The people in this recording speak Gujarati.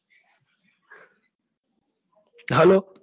ચાલે.